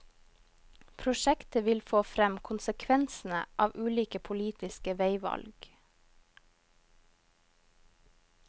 Prosjektet vil få frem konsekvensene av ulike politiske veivalg.